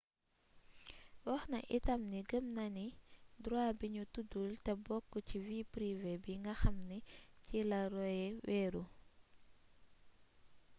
waxna itam ni gëm na droit bi ñu tuddul te bokk ci vie privé bi nga xamni ci la roe wéeru